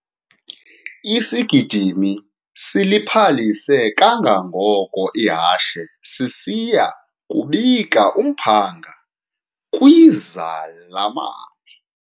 Isigidimi siliphalise kangangoko ihashe sisiya kubika umphanga kwizalamane.